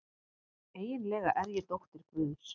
Eiginlega er ég dóttir guðs.